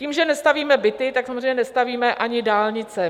Tím, že nestavíme byty, tak samozřejmě nestavíme ani dálnice.